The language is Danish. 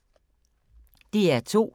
DR2